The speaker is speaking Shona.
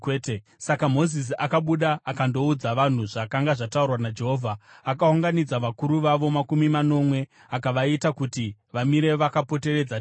Saka Mozisi akabuda akandoudza vanhu zvakanga zvataurwa naJehovha. Akaunganidza vakuru vavo makumi manomwe akavaita kuti vamire vakapoteredza Tende.